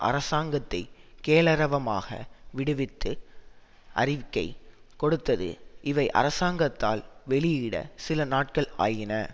அரசாங்கத்தை கெளரவமாக விடுவித்து அறிக்கை கொடுத்தது இவை அரசாங்கத்தால் வெளியிட சில நாட்கள் ஆயின